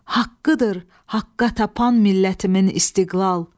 Haqqıdır, haqqa tapan millətimin istiqlal.